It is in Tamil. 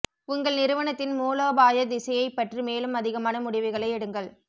உங்கள் நிறுவனத்தின் மூலோபாய திசையைப் பற்றி மேலும் அதிகமான முடிவுகளை எடுங்கள்